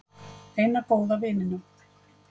Eina góða vininum.